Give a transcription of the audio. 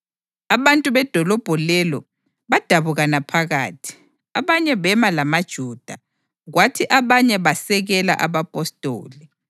Abantu bedolobho lelo badabukana phakathi; abanye bema lamaJuda, kwathi abanye basekela abapostoli.